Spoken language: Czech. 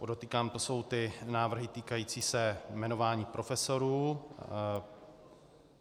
Podotýkám, to jsou ty návrhy týkající se jmenování profesorů.